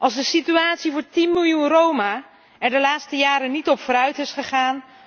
Als de situatie van 10 miljoen Roma er de laatste jaren niet op vooruit is gegaan?